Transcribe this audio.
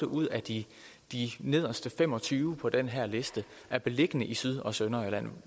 ud af de de nederste fem og tyve på den her liste er beliggende i syd og sønderjylland